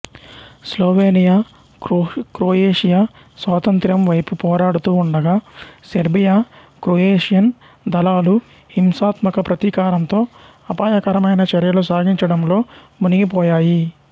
Slovenia Croatia స్వాతంత్ర్యం వైపు పోరాడుతూ ఉండగా సెర్బియా క్రొయేషియన్ దళాలు హింసాత్మక ప్రతీకారంతో అపాయకరమైన చర్యలు సాగించడంలో మునిగిపోయాయి